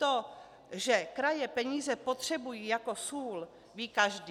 To, že kraje peníze potřebují jako sůl, ví každý.